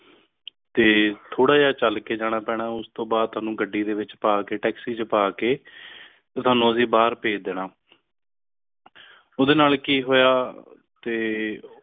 ਕੁੜਿਆ ਚੱਲ ਕੇ ਜਾਣਾ ਪੈਣਾ ਉਸ ਤੋਂ ਬਾਅਦ ਤੈਨੂੰ ਗੱਡੀ ਦੇ ਵਿੱਚ ਪਾ ਕੇ taxi ਚ ਪਾ ਕੇ ਤੁਵਾਣੁ ਅੱਸੀ ਬਾਹਰ ਭੇਜ ਦੇਣਾ ਉਡਦੇ ਨਾਲ ਕਿ ਹੋਇਆ ਤੇ